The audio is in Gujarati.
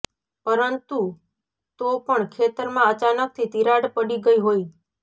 પરંતુ તો પણ ખેતરમાં અચાનકથી તીરાડ પડી ગઈ હોય